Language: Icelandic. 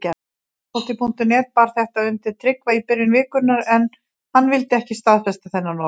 Fótbolti.net bar þetta undir Tryggva í byrjun vikunnar en hann vildi ekki staðfesta þennan orðróm.